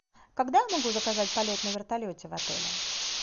когда я могу заказать полет на вертолете в отеле